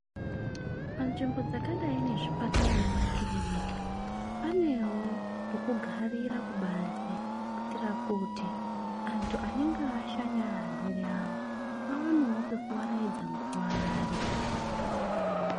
Panzvimbo dzakadai nezvipatara nemakiriniki panewo pokugarira kubanze kuitira kuti antu anenge ashanyira arwere awo awanewo pekuwaraidza nguwa ari.